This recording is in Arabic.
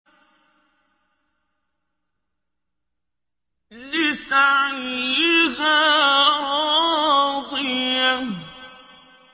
لِّسَعْيِهَا رَاضِيَةٌ